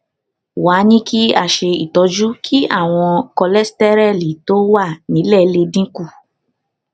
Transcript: wá a ní kí a ṣe itọju kí ìwòn kóléstẹrẹlì tó wà nílè lè dín kù